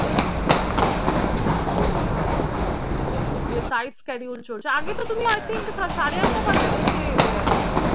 হ্যাঁ হ্যাঁ বুঝতে পারছি একটু tight schedule চলছে। আগে তো তুমি i think সাড়ে আটটা ফারে আটটায় ফিরে যেতে i think